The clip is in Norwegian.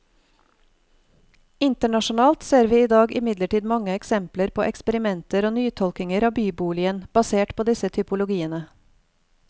Internasjonalt ser vi i dag imidlertid mange eksempler på eksperimenter og nytolkninger av byboligen, basert på disse typologiene.